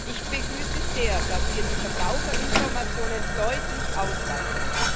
Ich begrüße es sehr, dass wir die Verbraucherinformationen deutlich ausweiten.